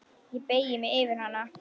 Ég beygi mig yfir hana.